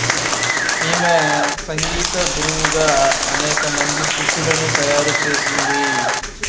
ఈమె సంగీత గురువుగా అనేక మంది శిష్యులను తయారు చేసింది